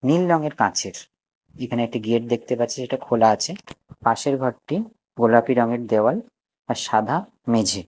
নীল রঙের কাচের যেখানে একটি গেট দেখতে পাচ্ছি যেটা খোলা আছে পাশের ঘরটি গোলাপি রঙ্গের দেওয়াল আর সাদা মেঝে।